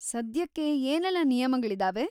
ಸದ್ಯಕ್ಕೆ ಏನೆಲ್ಲ ನಿಯಮಗಳಿದಾವೆ?